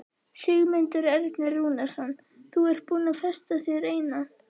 Sigmundur Ernir Rúnarsson: Þú ert búin að festa þér eina?